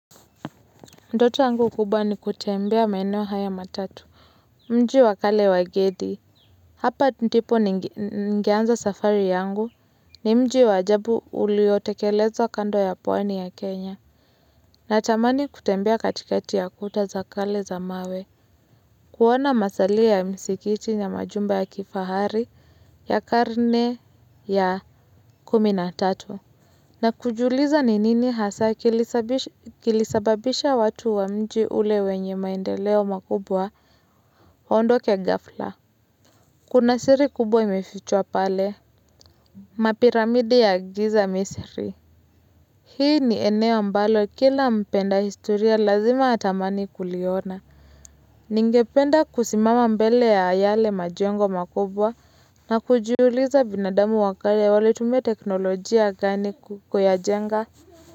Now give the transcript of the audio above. Ndoto yangu kubwa ni kutembea maeneo haya matatu, mji wakale wa Gedi. Hapa ndipo ningeanza safari yangu ni mji waajabu uliotekeleza kando ya pwani ya Kenya. Na tamani kutembea katikati ya kuta za kale za mawe. Kuona masalio ya msikiti ya majumba ya kifahari ya karne ya kuminatatu. Na kujiuliza ni nini hasa kilisabisha kilisababisha watu wa mji ule wenye maendeleo makubwa waondoke ghafla Kuna siri kubwa imefichwa pale Mapiramidi ya giza misri Hii ni eneo ambalo kila mpenda historia lazima atamani kuliona Ningependa kusimama mbele ya yale majengo makubwa na kujiuliza binadamu wakale walitumia teknolojia gani kuyajenga.